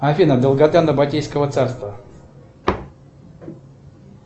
афина долгота набатейского царства